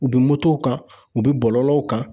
U bɛ motow kan, u bɛ bɔlɔlɔw kan.